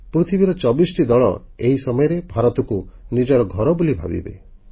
ପୃଥିବୀର 24ଟି ଦଳ ଏହି ସମୟରେ ଭାରତକୁ ନିଜର ଘର ବୋଲି ଭାବିବେ